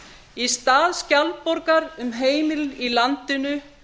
í stað skjaldborgar um heimilin í landinu